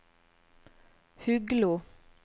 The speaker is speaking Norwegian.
Huglo